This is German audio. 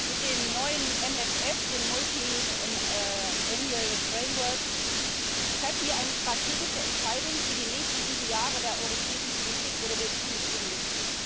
Mit dem neuen MFR, dem mehrjährigen Finanzrahmen, treffen wir eine strategische Entscheidung für die nächsten sieben Jahre der europäischen Politik, oder wir tun es eben nicht.